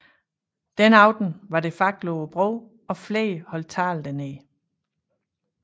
Den aften var det fakler på broen og flere holdt taler dernede